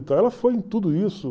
Ela foi em tudo isso.